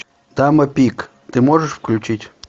дама пик ты можешь включить